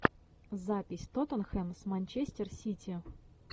запись тоттенхэм с манчестер сити